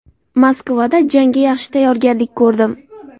Moskvada jangga yaxshi tayyorgarlik ko‘rdim.